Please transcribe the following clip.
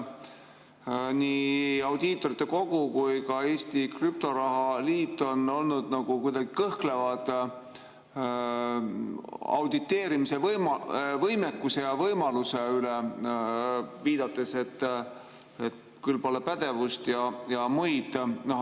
Nii Audiitorkogu kui ka Eesti Krüptoraha Liit on olnud kuidagi kõhklevad auditeerimise võimekuse ja võimaluse suhtes, viidates, et küll pole pädevust või muud.